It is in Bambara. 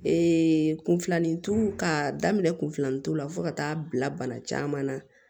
kunfilanitu ka daminɛ kun filanintu la fo ka taa bila bana caman na